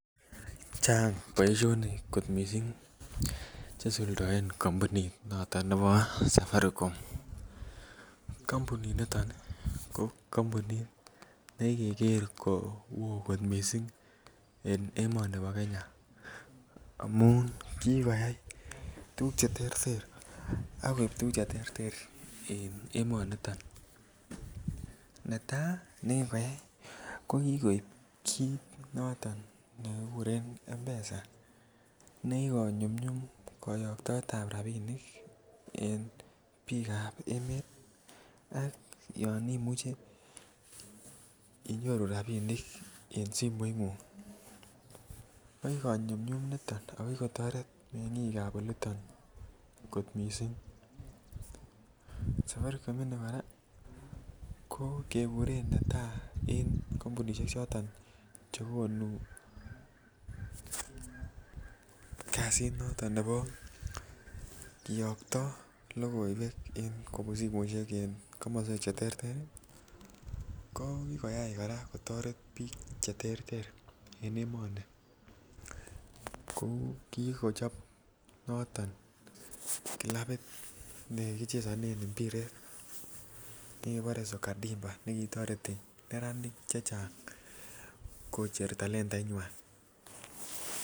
Chang kot mising boisionik Che isuldoen kampunit noto nebo safaricom kampuninito ko kampunit nekikeker ko oo kot mising en emoni bo Kenya amun kikoyai tuguk Che terter ak koib tuguk Che terter en emonito netai nekikoyai ko ki koib kit noto nekikuren mpesa nekikonyumnyum koyoktoetab rabisiek en bikap emet ak yon imuche inyoru rabisiek en simoingung ko ki ko nyumnyum nito ako ki kotoret mengik ab oli to kot mising safaricom ini kora keguren netai en kompunisiek choton chekonu kasit noto nebo kiyokto logoiwek kobun simoisiek en komoswek Che terter ko ki ko toret bik Che terter en emoni kou ki ko kochob noton kilabit nekichesonen mpiret nikibore soka dimpa nikitoreti neranik chechang koocher talentainywa